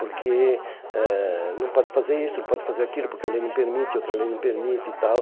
Porque eh não pode fazer isso, não pode fazer aquilo, porque a lei não permite, outra lei não permite e tal.